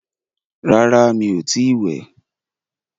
Rárá, mí o ti ì wẹ̀.